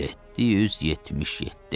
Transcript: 777.